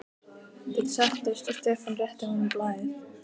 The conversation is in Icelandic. Þeir settust og Stefán rétti honum blaðið.